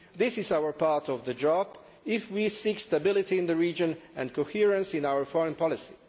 This is our part of the job if we seek stability in the region and coherence in our foreign policy.